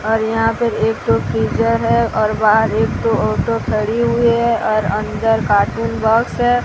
और यहां पे एक ठो फ्रीजर है और बाहर एक ठो ऑटो खड़ी हुई है और अंदर कार्टून बॉक्स है।